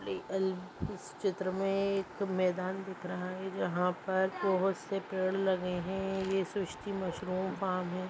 अल इस चित्र में एक मैदान दिख रहा है जहां पर बहोत से पेड़ लगे हैं। ये सृष्टि मशरूम फार्म है।